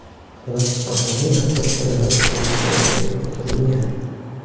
Biroq aholi ehtiyot choralari ko‘rishi kerakligi uqtirilgan.